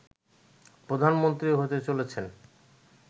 প্রধানমন্ত্রী হতে চলেছেন